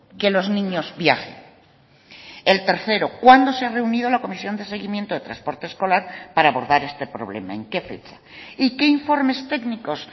que los niños viajen el tercero cuándo se reunió la comisión de seguimiento de transporte escolar para abordar este problema en qué fecha y qué informes técnicos